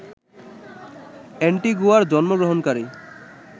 অ্যান্টিগুয়ায় জন্মগ্রহণকারী